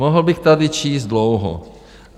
Mohl bych tady číst dlouho.